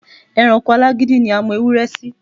E̩ranko alágídí ni a mo̩ ewúré̩ sí.